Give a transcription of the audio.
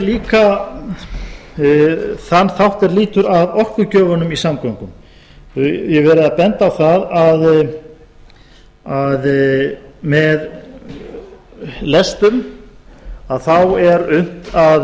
líka þann þátt sem lýtur að orkugjöfunum í samgöngum ég hef verið að benda á það að með lestum að þá er